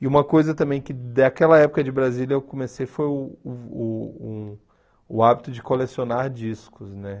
E uma coisa também que daquela época de Brasília eu comecei foi uh uh o hábito de colecionar discos, né?